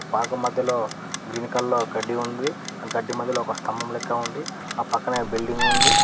Park మధ్యలో green colour లో గడ్డి ఉంది ఆ గడ్డి మధ్యలో ఒక స్తంభం లెక్క ఉంది ఆ పక్కనే బిల్డింగ్ ఉంది.